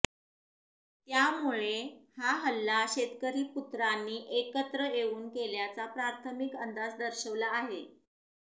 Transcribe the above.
त्यामुळे हा हल्ला शेतकरी पुत्रांनी एकत्र येऊन केल्याचा प्राथमिक अंदाज दर्शवला आहे